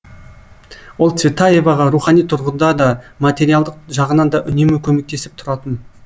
ол цветаеваға рухани тұрғыда да материалдық жағынан да үнемі көмектесіп тұратын